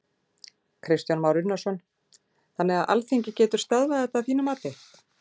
Kristján Már Unnarsson: Þannig að Alþingi getur stöðvað þetta að þínu mati?